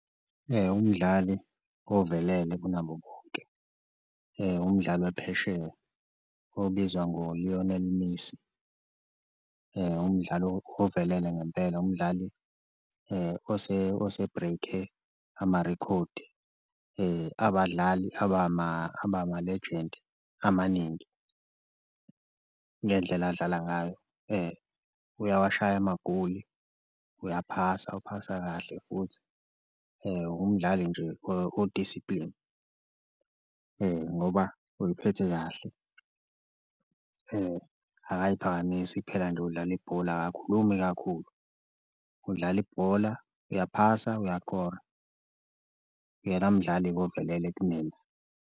Umdlali ovelele kunabo bonke umdlali waphesheya obizwa ngoLionel Messi, umdlali ovelele ngempela umdlali ose-break-e amarekhodi abadlali abama-legend amaningi ngendlela abadlala ngayo. Uyawashaya amagoli, uyaphasa uphasa kahle futhi umdlali nje o-discipline ngoba uyiphethe kahle akayiphakamisi kuphela nje udlala ibhola, akakhulumi kakhulu udlala ibhola, uyaphasa, uyakora, uyena mdlali-ke ovelele kumina.